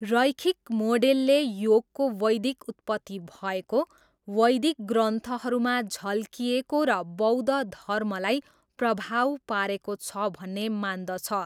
रैखिक मोडेलले योगको वैदिक उत्पत्ति भएको, वैदिक ग्रन्थहरूमा झल्किएको र बौद्ध धर्मलाई प्रभाव पारेको छ भन्ने मान्दछ।